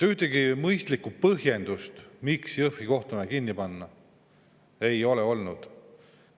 Ühtegi mõistlikku põhjendust, miks Jõhvi kohtumaja tuleb kinni panna, ei ole olnud.